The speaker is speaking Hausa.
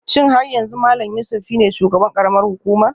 Shin har yanzu Malam Yusuf shine shugaban karamar hukumar?